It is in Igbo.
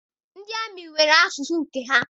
Ndị amị nwere asụsụ nke ha.